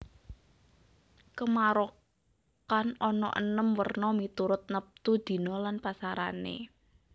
Kamarokan ana enem werna miturut neptu dina lan pasarané